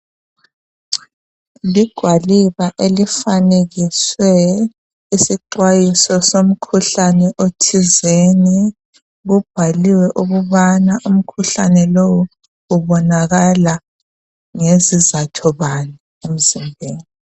Ligwaliba elifanekiswe isixwayiso esomkhuhlane othizeni kubhaliwe ukubana umkhuhlane lowu ubonakal ngesizatho bani emzimbeni.